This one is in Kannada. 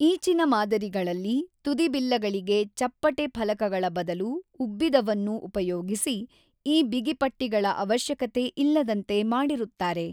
ಈಚಿನ ಮಾದರಿಗಳಲ್ಲಿ ತುದಿಬಿಲ್ಲಗಳಿಗೆ ಚಪ್ಪಟೆ ಫಲಕಗಳ ಬದಲು ಉಬ್ಬಿದವನ್ನು ಉಪಯೋಗಿಸಿ ಈ ಬಿಗಿಪಟ್ಟಿಗಳ ಅವಶ್ಯಕತೆ ಇಲ್ಲದಂತೆ ಮಾಡಿರುತ್ತಾರೆ.